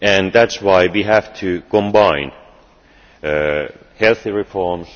That is why we have to combine healthy reforms.